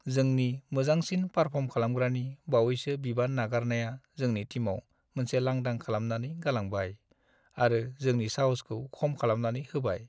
जोंनि मोजांसिन पारफर्म खालामग्रानि बावैसो बिबान नागारनाया जोंनि टिमआव मोनसे लांदां खालामनानै गालांबाय आरो जोंनि साहसखौ खम खालामनानै होबाय।